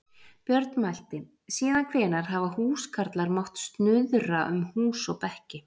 Björn mælti: Síðan hvenær hafa húskarlar mátt snuðra um hús og bekki.